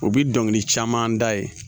O bi dɔnkili caman da ye